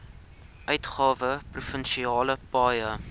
uitgawe provinsiale paaie